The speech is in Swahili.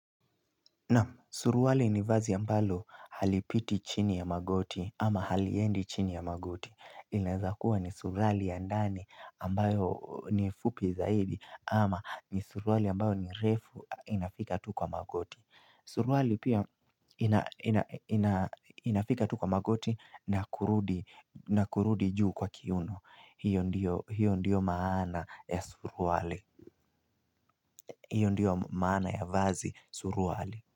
Suruali ni vazi ambalo halipiti chini ya magoti ama haliendi chini ya magoti. Inaeza kuwa ni suruali ya ndani ambayo ni fupi zaidi ama ni suruali ambayo ni refu inafika tu kwa magoti. Suruali pia inafika tu kwa magoti na kurudi juu kwa kiuno. Hiyo ndiyo maana ya suruali. Hiyo ndiyo maana ya vazi suruali.